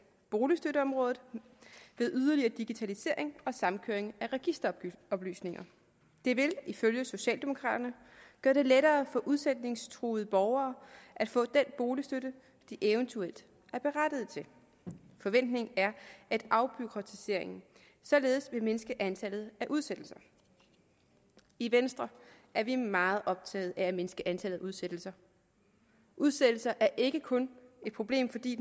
boligstøtteområdet ved yderligere digitalisering og samkøring af registeroplysninger det vil ifølge socialdemokraterne gøre det lettere for udsætningstruede borgere at få den boligstøtte de eventuelt er berettiget til forventningen er at afbureaukratiseringen således vil mindske antallet af udsættelser i venstre er vi meget optagede af at mindske antallet af udsættelser udsættelser er ikke kun et problem fordi